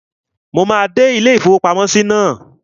Mo máa dé ilé-ìfowópamọ́sí náà